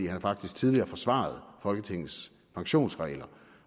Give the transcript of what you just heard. har faktisk tidligere forsvaret folketingets pensionsregler